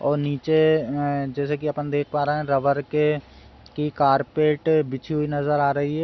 और नीचे जैसे के अपन देख पा रहे नीचे रबर की कारपेट बिछी हुई नजर आ रही है।